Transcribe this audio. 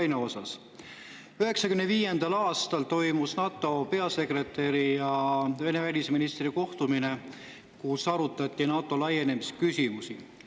1995. aastal toimus NATO peasekretäri ja Vene välisministri kohtumine, kus arutati NATO laienemise küsimusi.